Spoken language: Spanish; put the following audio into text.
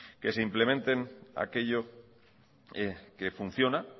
que se implementen aquello que funciona